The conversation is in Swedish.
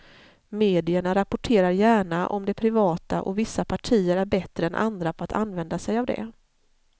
Medierna rapporterar gärna om det privata och vissa partier är bättre än andra på att använda sig av det.